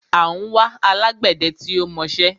À ń wá alágbẹdẹ tí ó mọṣẹ́